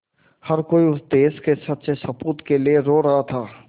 हर कोई उस देश के सच्चे सपूत के लिए रो रहा था